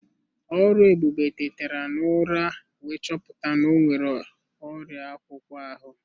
Oluebube tetara n'ụra wee chọpụta na o nwere ọrịa akpụkpọ ahụ.